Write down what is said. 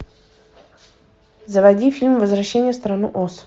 заводи фильм возвращение в страну оз